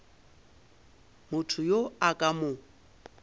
motho yo a ka mo